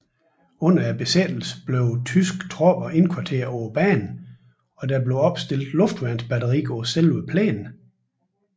Under besættelsen blev tyske tropper indkvarteret på banen og der blev opstillet luftværnsbatteri på selve plænen